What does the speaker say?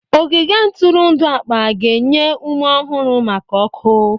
Ogige ntụrụndụ akpa ga-enye ume ọhụrụ maka ọkụ.